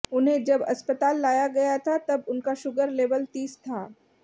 उन्हें जब अस्पताल लाया गया था तब उनका शुगर लेवल तीस था